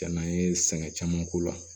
Jan'an ye sɛgɛn caman k'o la